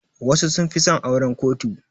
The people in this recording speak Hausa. Wasu sun fi son auran kotu.